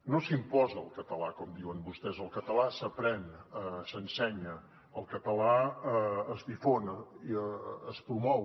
no s’imposa el català com diuen vostès el català s’aprèn s’ensenya el català es difon es promou